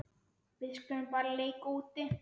Við skulum bara leika úti.